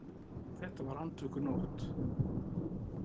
Þetta var andvökunótt.